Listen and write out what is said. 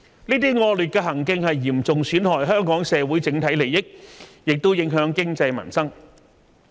這些惡劣行徑嚴重損害香港社會整體利益，也影響經濟民生。